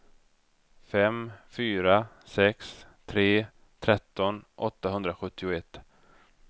fem fyra sex tre tretton åttahundrasjuttioett